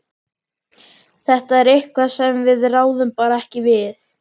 Þetta er eitthvað sem við ráðum bara ekki við.